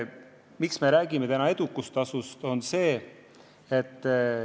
Miks me räägime täna edukustasust?